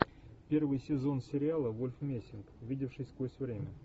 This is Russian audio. первый сезон сериала вольф мессинг видевший сквозь время